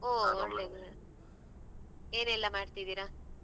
ಹೋ ಒಳ್ಳೇದ್ ಒಳ್ಳೇದ್ ಏನೆಲ್ಲ ಮಾಡ್ತಾ ಇದ್ದೀರಾ?